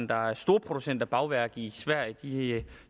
der er storproducent af bagværk i sverige